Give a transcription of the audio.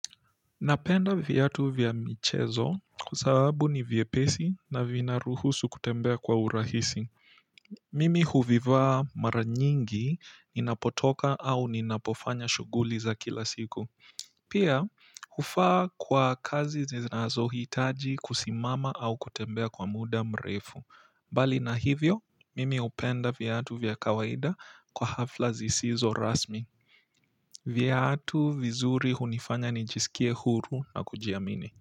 Napenda viatu vya michezo kwa sababu ni vyepesi na vinaruhusu kutembea kwa urahisi. Mimi huvivaa mara nyingi ninapotoka au ninapofanya shughuli za kila siku. Pia, hufaa kwa kazi zinazohitaji kusimama au kutembea kwa muda mrefu. Bali na hivyo, mimi hupenda viatu vya kawaida kwa hafla zisizo rasmi. Viatu vizuri hunifanya nijisikie huru na kujiamini.